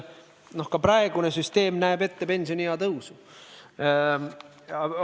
Ka praegune süsteem näeb ette pensioniea tõusu.